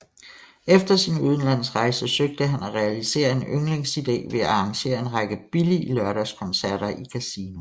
Efter sin udenlandsrejse søgte han at realisere en yndlingsidé ved at arrangere en række billige lørdagskoncerter i Casino